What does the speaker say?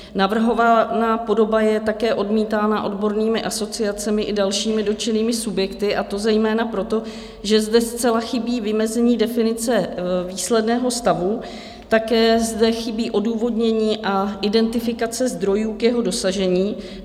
Navrhovaná podoba je také odmítána odbornými asociacemi i dalšími dotčenými subjekty, a to zejména proto, že zde zcela chybí vymezení definice výsledného stavu, také zde chybí odůvodnění a identifikace zdrojů k jeho dosažení.